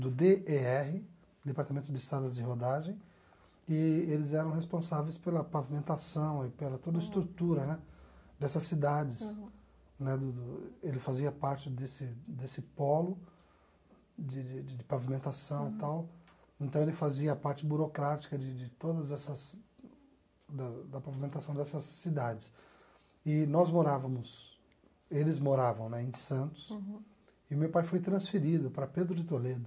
do dê ê erre Departamento de Estradas de Rodagem e eles eram responsáveis pela pavimentação e pela toda a estrutura né dessas cidades né do do ele fazia parte desse desse polo de de de pavimentação e tal então ele fazia a parte burocrática de de todas essas da da pavimentação dessas cidades e nós morávamos eles moravam né em Santos e meu pai foi transferido para Pedro de Toledo